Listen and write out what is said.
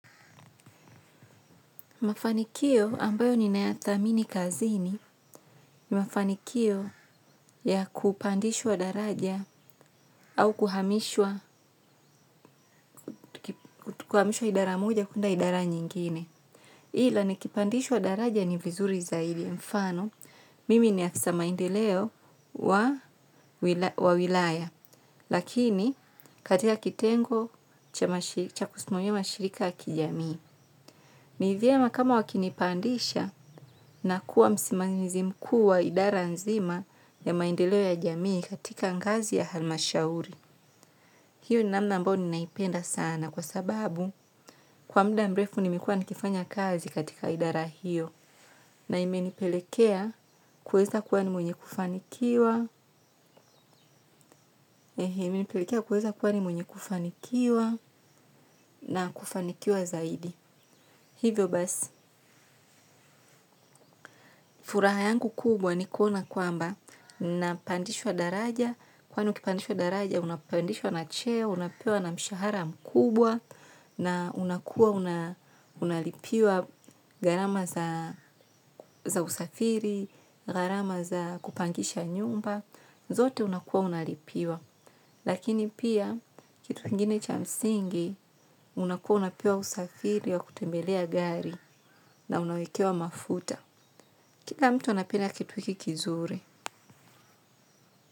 Mafanikio ambayo ninayathamini kazini ni mafanikio ya kupandishwa daraja au kuhamishwa idara moja kwenda idara nyingine. Ila ni kipandishwa daraja ni vizuri zaidi mfano, mimi ni afisa maendeleo wa wilaya, lakini katika kitengo cha kusimamia mashirika ya kijamii. Ni vyema kama wakinipandisha na kuwa msimamizi mkuu wa idara nzima ya maendeleo ya jamii katika ngazi ya hali mashauri. Hiyo namna ambayo ninaipenda sana kwa sababu kwa mda mrefu nimekuwa nikifanya kazi katika idara hiyo na imenipelekea kuweza kua ni mwenye kufanikiwa kweza kuwa nimwnye kufanikiwa na kufanikiwa zaidi. Hivyo basi, furaha yangu kubwa ni kuona kwamba, napandishwa daraja, kwani ukipandishwa daraja, unapandishwa na cheo, unapewa na mshahara mkubwa, na unakuwa unalipiwa gharama za usafiri, garama za kupangisha nyumba, zote unakuwa unalipiwa. Lakini pia kitu kingine cha msingi, unakuwa unapewa usafiri wa kutembelea gari na unawekewa mafuta. Kila mtu anapenda kitu hiki kizuri.